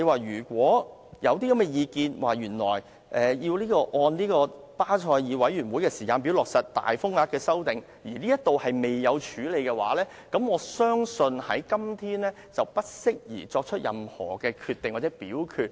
如果有意見認為，要按巴塞爾委員會的時間表落實大額風險承擔框架的修訂，而這方面未作處理的話，我相信今天不適宜作出任何決定或表決。